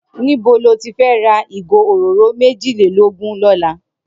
Nibó ló ti fè rà igó óróró méjilélógùn lòlá?